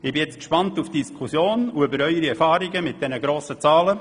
Nun bin ich gespannt auf die Diskussion und auf Ihre Erfahrungen mit diesen grossen Zahlen.